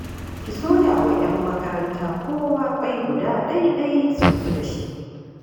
Ki soya wa 'yan makaranta kowa ƙwai guda ɗai-ɗai su tafi da shi